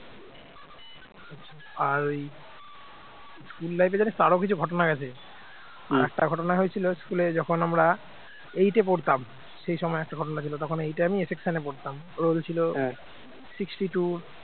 আর ওই school life জানিস তো আরো কিছু ঘটনা গেছে আর একটা ঘটনা হয়েছিল school যখন আমরা eight পড়তাম সেই সময় একটা ঘটনা ছিল তখন eight আমি a section পড়তাম roll ছিল sixty two